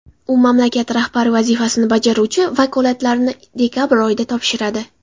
U mamlakat rahbari vazifasini bajaruvchi vakolatlarini dekabr oyida topshiradi .